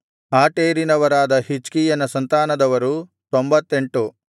ಆಟೇರಿನವರಾದ ಹಿಜ್ಕೀಯನ ಸಂತಾನದವರು 98